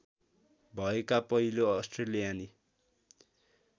भएका पहिलो अस्ट्रेलियाली